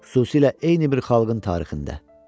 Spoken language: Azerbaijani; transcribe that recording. Xüsusilə eyni bir xalqın tarixində.